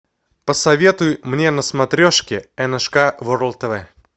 посоветуй мне на смотрешке ншк ворлд тв